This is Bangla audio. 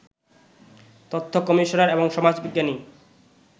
তথ্য কমিশনার এবং সমাজবিজ্ঞানী